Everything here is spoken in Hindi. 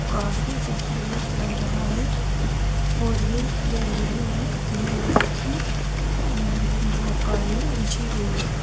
काफ़ी खूबसूरत लग रहा है और ये गैलरी में ग्रीन कलर की अम्म् वो कालीन बिछी हुई है।